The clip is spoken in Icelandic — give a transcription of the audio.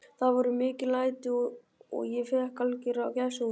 Það voru mikil læti og ég fékk algjöra gæsahúð.